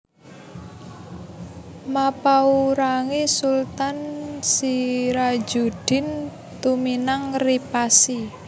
Mappaurangi Sultan Sirajuddin Tuminang ri Pasi